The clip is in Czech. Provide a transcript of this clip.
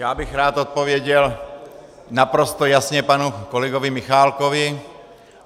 Já bych rád odpověděl naprosto jasně panu kolegovi Michálkovi.